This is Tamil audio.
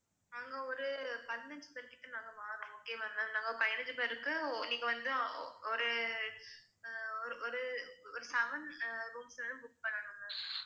நாங்க ஒரு பதினஞ்சு பேர் கிட்ட நாங்க வாரோம் okay வா ma'am நாங்க பதினஞ்சு பேர்க்கு ஓ~ நீங்க வந்து ஓ~ ஒரு அஹ் ஒரு ஒரு ஒரு seven rooms ஆவது book பண்ணனும் ma'am